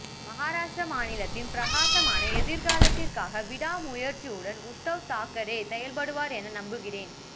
மகாராஷ்டிர மாநிலத்தின் பிரகாசமான எதிர்காலத்திற்காக விடாமுயற்சியுடன் உத்தவ் தாக்கரே செயல்படுவார் என நம்புகிறேன்